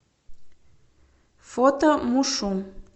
фото мушу